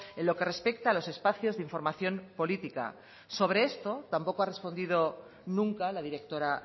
en lo que respecta a los espacios de información política sobre esto tampoco ha respondido nunca la directora